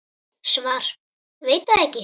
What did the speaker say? Svar: Veit það ekki.